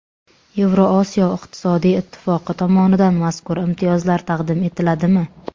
Yevrosiyo iqtisodiy ittifoqi tomonidan mazkur imtiyozlar taqdim etiladimi?